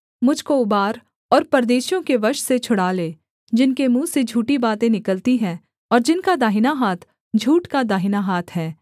मुझ को उबार और परदेशियों के वश से छुड़ा ले जिनके मुँह से झूठी बातें निकलती हैं और जिनका दाहिना हाथ झूठ का दाहिना हाथ है